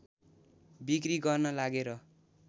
बिक्री गर्न लागेर